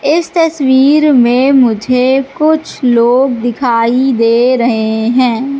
इस तस्वीर में मुझे कुछ लोग दिखाई दे रहे हैं।